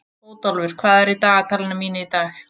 Bótólfur, hvað er í dagatalinu mínu í dag?